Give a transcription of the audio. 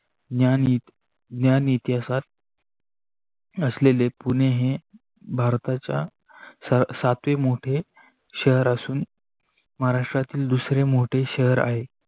ज्ञान इतिहासा असलेले पुणे हे भारताच्य सातवे मोठे शहर असू महाराष्ट्रातील दूसरे मोठ शहर आहे.